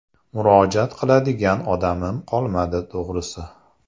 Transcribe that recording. Murojaat qiladigan odamim qolmadi, to‘g‘risi.